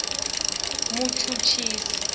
muchuchisi